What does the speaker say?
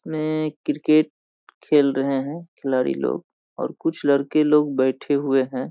में क्रिकेट खेल रहे हैं खिलाड़ी लोग और कुछ लड़के लोग बैठे हुए हैं।